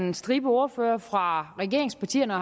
en stribe ordførere fra regeringspartierne